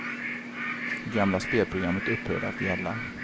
Det gamla spelprogrammet upphörde att gälla.